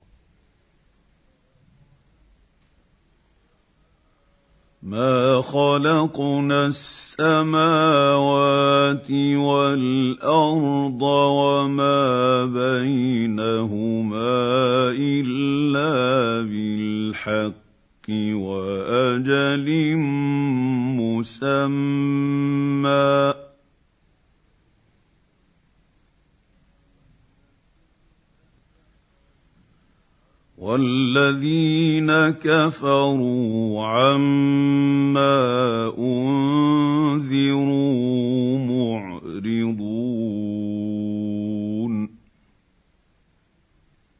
مَا خَلَقْنَا السَّمَاوَاتِ وَالْأَرْضَ وَمَا بَيْنَهُمَا إِلَّا بِالْحَقِّ وَأَجَلٍ مُّسَمًّى ۚ وَالَّذِينَ كَفَرُوا عَمَّا أُنذِرُوا مُعْرِضُونَ